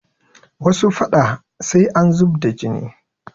Wasu faɗa sai an zub da jini